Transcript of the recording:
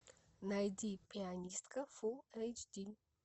найди пианистка фул эйч ди